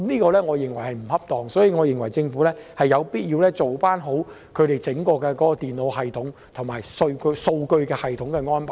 我認為這樣並不恰當，所以政府有必要做好在整個電腦系統及數據系統方面的安排。